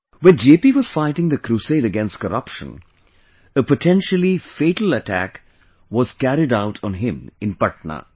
When JP was fighting the crusade against corruption, a potentially fatal attack was carried out on him in Patna